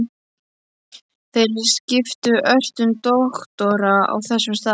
Þeir skiptu ört um doktora á þessum stað.